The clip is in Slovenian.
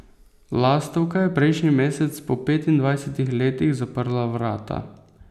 Lastovka je prejšnji mesec po petindvajsetih letih zaprla vrata.